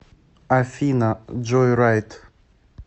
афина джойрайд